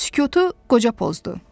Sükutu qoca pozdu.